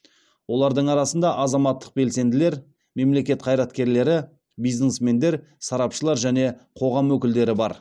олардың арасында азаматтық белсенділер мемлекет қайраткерлері бизнесмендер сарапшылар және қоғам өкілдері бар